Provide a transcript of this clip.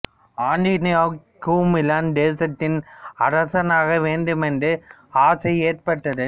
ஆண்டோனியோவுக்கு Milan தேசத்தின் அரசனாக வேண்டும் என்ற ஆசை ஏற்பட்டது